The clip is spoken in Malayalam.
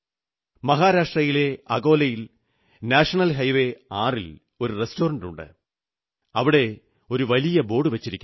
മഹാരാഷ്ട്രയിലെ അകോലയിൽ നാഷണൽ ഹൈവേ 6 ൽ ഒരു റസ്റ്റോറന്റുണ്ട് അവിടെ ഒരു വലിയ ബോർഡുവച്ചിരിക്കുന്നു